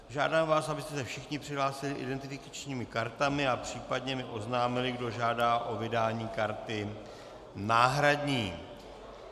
Žádám vás, abyste se všichni přihlásili identifikačními kartami a případně mi oznámili, kdo žádá o vydání karty náhradní.